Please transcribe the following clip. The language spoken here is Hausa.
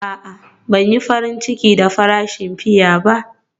A'a, Ban yi farin ciki da farashin fiya ba.